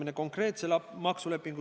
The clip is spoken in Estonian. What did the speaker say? Aga hakkame nüüd mõtlema sisuliselt.